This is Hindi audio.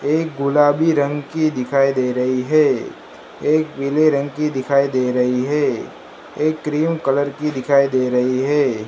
एक गुलाबी रंग की दिखाई दे रही है एक पीले रंग की दिखाई दे रही है एक क्रीम कलर की दिखाई दे रही है।